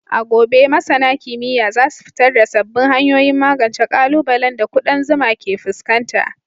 A gobe, masana kimiyya za su fitar da sabbin hanyoyin magance ƙalubalen da ƙudan zuma ke fuskanta.